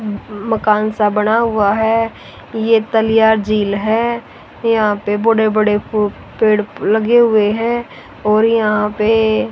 मकान सा बना हुआ है ये तलिया झील है यहां पे बड़े बड़े पेड़ लगे हुए हैं और यहां पे--